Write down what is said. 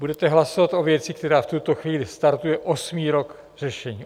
Budete hlasovat o věci, která v tuto chvíli startuje osmý rok řešení.